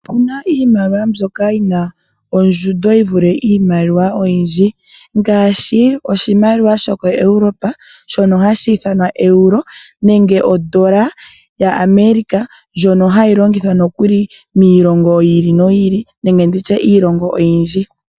Opu na iimaliwa mbyoka yi na ondjundo yi vule iimaliwa oyindji, ngaashi oshimaliwa shokoEuropa, shono hashi ithanwa Euro, nenge ondola yaAmerika, ndjono hayi longithwa nokuli miilongo yi ili noyi ili, nenge ndi tye miilongo oyindji.